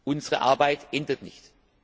Unsere Arbeit endet nicht.